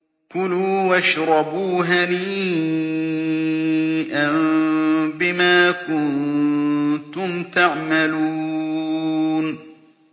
كُلُوا وَاشْرَبُوا هَنِيئًا بِمَا كُنتُمْ تَعْمَلُونَ